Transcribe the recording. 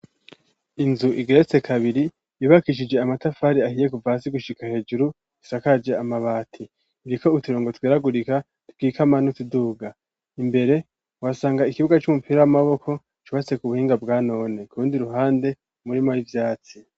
Inzu igeretse kabiri yubakishije amatafari ahiye kuva hasi gushika hejuru isakaje amabati iriko uturongo tweragurika twikama n'utuduga imbere wasanga ikibuga c'umupira w'amaboko cubatse ku buhinga bwa none kurundi ruhande hari umurimo w'ivyatsi.